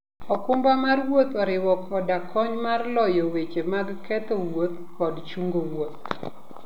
okumba mar wuoth oriwo koda kony mar loyo weche mag ketho wuoth kod chungo wuoth.